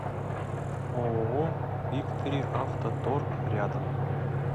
ооо викториавтоторг рядом